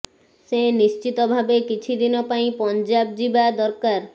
ସେ ନିଶ୍ଚିତ ଭାବେ କିଛି ଦିନ ପାଇଁ ପଞ୍ଜାବ ଯିବା ଦରକାର